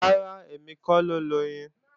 Rárá, èmi kọ́ ló loyin